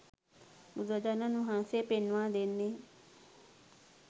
බුදුරජාණන් වහන්සේ පෙන්වා දෙන්නේ